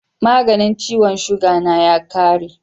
maganin ciwon suga na ya kare